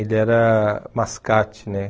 Ele era mascate, né?